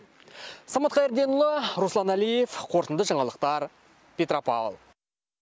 самат қайырденұлы руслан әлиев қорытынды жаңалықтар петропавл